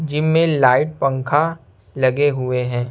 Gym में light पंखा लगे हुए हैं।